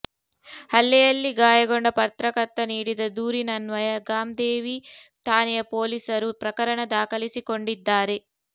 ಹಲ್ಲೆಯಲ್ಲಿ ಗಾಯಗೊಂಡ ಪತ್ರಕರ್ತ ನೀಡಿದ ದೂರಿನನ್ವಯ ಗಾಮ್ದೇವಿ ಠಾಣೆಯ ಪೋಲೀಸರು ಪ್ರಕರಣ ದಾಖಲಿಸಿಕೊಂಡಿದ್ದಾರೆ